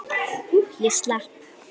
Ég slapp.